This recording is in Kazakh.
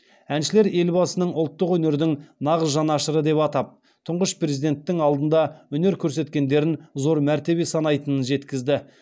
әншілер елбасын ұлттық өнердің нағыз жанашыры деп атап тұңғыш президенттің алдында өнер көрсеткендерін зор мәртебе санайтынын жеткізді